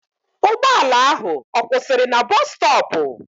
Ụgbọala ahụ ọ kwụsịrị na bọs stọọpụ?